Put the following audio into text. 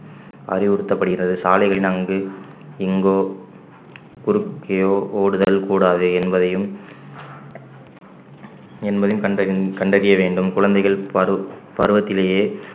அறிவுறுத்தப்படுகிறது சாலைகளில் அங்கு இங்கோ குறுக்கே ஓடுதல் கூடாது என்பதையும் என்பதையும் கண்டறி~ கண்டறிய வேண்டும் குழந்தைகள் பரு~ பருவத்திலேயே